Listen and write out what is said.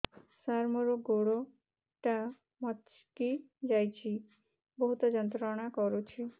ସାର ମୋର ଗୋଡ ଟା ମଛକି ଯାଇଛି ବହୁତ ଯନ୍ତ୍ରଣା କରୁଛି